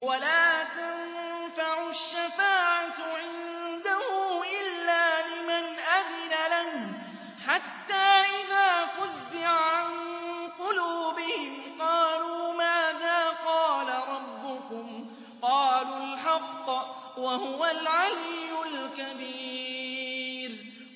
وَلَا تَنفَعُ الشَّفَاعَةُ عِندَهُ إِلَّا لِمَنْ أَذِنَ لَهُ ۚ حَتَّىٰ إِذَا فُزِّعَ عَن قُلُوبِهِمْ قَالُوا مَاذَا قَالَ رَبُّكُمْ ۖ قَالُوا الْحَقَّ ۖ وَهُوَ الْعَلِيُّ الْكَبِيرُ